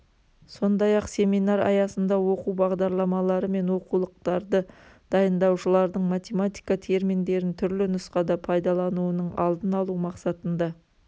сондай-ақ семинар аясында оқу бағдарламалары мен оқулықтарды дайындаушылардың математика терминдерін түрлі нұсқада пайдалануының алдын алу мақсатында